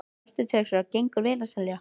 Hafsteinn Hauksson: Gengur vel að selja?